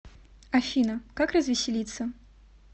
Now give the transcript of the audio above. афина как развеселиться